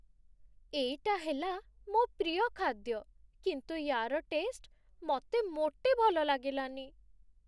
ଏଇଟା ହେଲା ମୋ' ପ୍ରିୟ ଖାଦ୍ୟ, କିନ୍ତୁ ୟା'ର ଟେଷ୍ଟ ମତେ ମୋଟେ ଭଲ ଲାଗିଲାନି ।